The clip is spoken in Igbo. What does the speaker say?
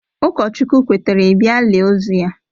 Ụkọchukwu kwetere ị bịa lie ozu ya